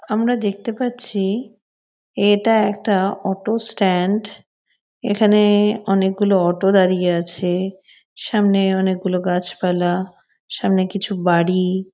আমরা দেখতে পাচ্ছি এটা একটা অটো স্ট্যান্ড । এখানে অনেকগুলো অটো দাঁড়িয়ে আছে। সামনে অনেকগুলো গাছপালা সামনে কিছু বাড়ি।